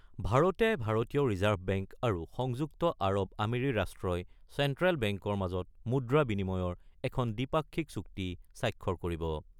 ভাৰতে ভাৰতীয় reserve bank আৰু সংযুক্ত আৰৱ আমিৰি ৰাষ্ট্ৰই চেণ্ট্ৰেল বেংকৰ মাজত মুদ্ৰা বিনিয়মৰ এখন দ্বিপাক্ষিক চুক্তি স্বাক্ষৰ কৰিব।